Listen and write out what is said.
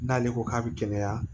N'ale ko k'a bɛ gɛlɛya